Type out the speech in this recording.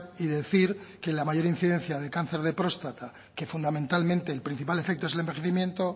y decir que la mayor incidencia de cáncer de próstata que fundamentalmente el principal efecto es el envejecimiento